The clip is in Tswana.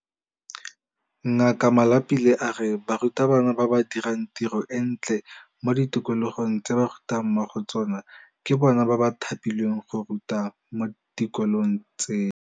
Ngaka Malapile a re barutabana ba ba dirang tiro e ntle mo di tikologong tse ba rutang mo go tsona ke bona ba thapilweng go ruta mo dikolong tseno.